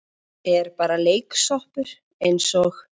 Er bara leiksoppur eins og